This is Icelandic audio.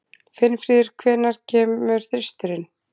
Finnfríður, hvenær kemur þristurinn?